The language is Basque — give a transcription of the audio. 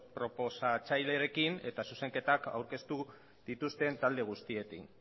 proposatzailearekin eta zuzenketak aurkeztu dituzten talde guztiekin